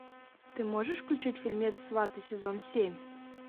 ты можешь включить фильмец сваты сезон семь